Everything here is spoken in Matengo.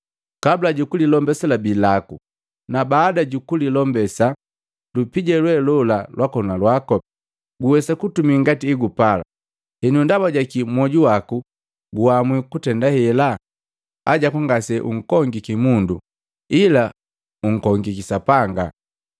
Kabula jukulilombesa labii laku, na baada jukulilombesa lupija lwe lola lwakona lwako, uwesa kutumi ngati egupala. Henu ndaba jakii moju waku gwaamwi kutenda hela? Hajaku ngase unkongiki mundo, ila unkongiki Sapanga.”